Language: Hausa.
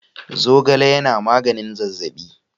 Zogale yana maganin zazzaɓi.